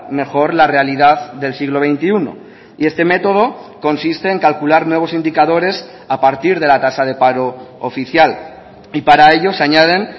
mejor la realidad del siglo veintiuno y este método consiste en calcular nuevos indicadores a partir de la tasa de paro oficial y para ello se añaden